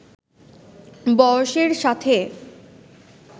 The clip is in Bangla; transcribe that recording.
বয়সের সাথে